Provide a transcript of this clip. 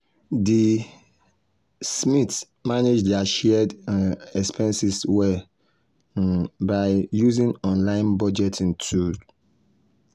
di um smiths manage dir shared um expenses well um by using online budgeting tool.